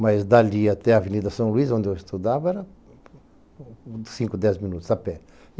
Mas dali até a Avenida São Luís, onde eu estudava, era cinco, dez minutos a pé.